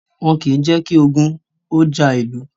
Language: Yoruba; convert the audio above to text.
Wọ́n kìí jẹ́ kí ogun ó ja ìlú